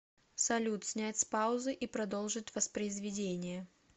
салют снять с паузы и продолжить воспроизведение